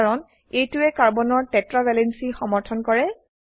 কাৰণ এইটোৱে কাৰ্বনৰ টেট্ৰা ভেলেন্সি সমৰ্থন কৰে